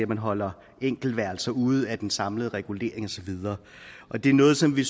man holder enkeltværelser ude af den samlede regulering og så videre det er noget som vi